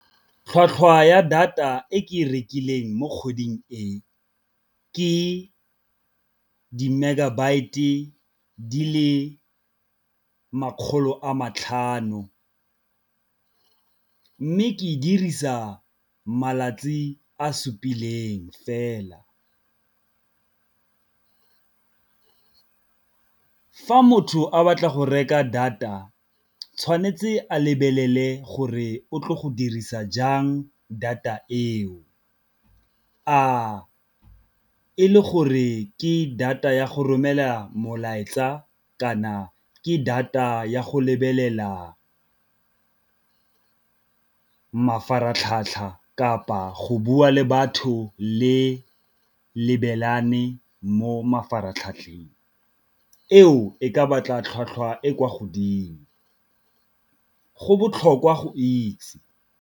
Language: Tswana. Tlhwatlhwa ya data e ke e rekileng mo kgweding e, ke di-megabyt-e di le makgolo a matlhano, mme ke dirisa malatsi a fela. Fa motho a batla go reka data tshwanetse a lebelele gore o tlo go dirisa jang data eo, a e le gore ke data ya go romela molaetsa kana ke data ya go lebelela mafaratlhatlha kapa go bua le batho le lebelelane mo mafaratlhatlheng, eo e ka batla tlhwatlhwa e kwa godimo go botlhokwa go itse.